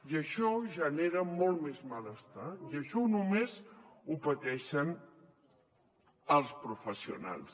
i això genera molt més malestar i això només ho pateixen els professionals